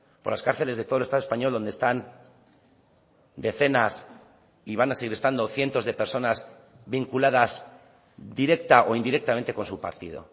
por las cárceles de todo el estado español donde están decenas y van a seguir estando cientos de personas vinculadas directa o indirectamente con su partido